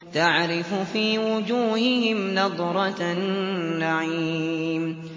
تَعْرِفُ فِي وُجُوهِهِمْ نَضْرَةَ النَّعِيمِ